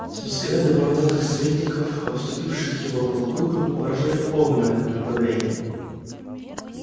взгляды бородатых советников обступивших его полукругом выражали полное неодобрение